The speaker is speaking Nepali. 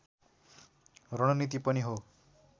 रणनीति पनि हो